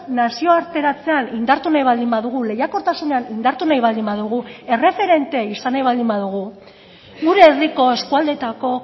nazioarteratzean indartu nahi baldin badugu lehiakortasunean indartu nahi baldin badugu erreferente izan nahi baldin badugu gure herriko eskualdeetako